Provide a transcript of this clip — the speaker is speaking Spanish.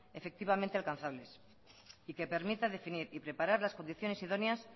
efectivamente alcanzables y que permita definir y preparar las condiciones idóneas